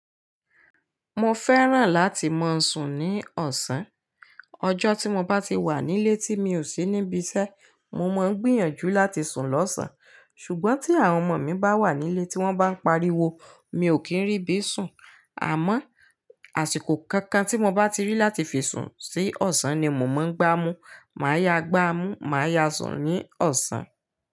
Mo fẹ́ràn láti máa sùn ní ọ̀sán. Ọjọ́ tí mo bá ti wà nílé tí mi ò sí níbi iṣẹ́, mo máa ń gbìyànjú láti sùn lọ́sàn-án. Ṣùgbọ́n tí àwọn ọmọ mi bá wà nílé tí wọ́n bá ń pariwo, mi ò kí ń rí bí sùn. Àmọ́ àsìkò kankan tí mo bá ti rí láti fi sùn sí ọ̀sán ni mo máa ń gbá mú. Máa yáa gbá a mú, màá yáa sùn ní ọ̀sán.